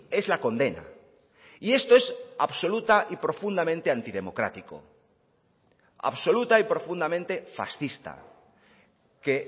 es la condena y esto es absoluta y profundamente antidemocrático absoluta y profundamente fascista que